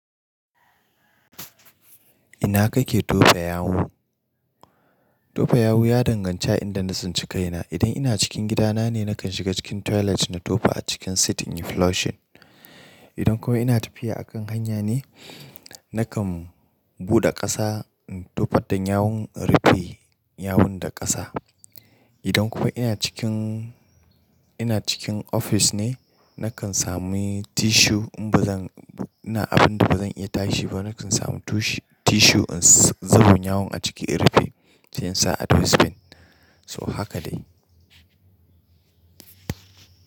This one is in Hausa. Ina kake tofa yawu? Tofa yawu ya danganci a inda na tsinci kaina. Idan ina cikin gidana ne, nakan shiga cikin toilet na tofa a cikin sitin in flush it. Idan kuma ina tafiya a kan hanya ne, nakan buɗe ƙasa in tofa dan yawun, rufe yawun da ƙasa. Idan kuma ina cikin, ina cikin ofis ne, nakan sami tissue in ba zan, ina abun da ba zan iya tashi ba, nakan sami tushi-tissue in zuba yawun a ciki in rufe. Sai in sa a dustbin. So haka dai.